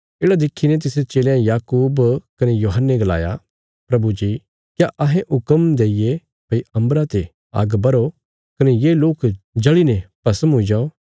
येढ़ा देखीने तिसरे चेलयां याकूब कने यूहन्ने गलाया प्रभु जी क्या अहें हुक्म देईये भई अम्बरा ते आग्ग बर्हो कने ये लोक जल़ीने भस्म हुई जाओ